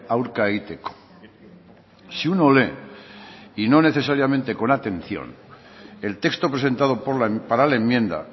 aurka egiteko si uno lee y no necesariamente con atención el texto presentado para la enmienda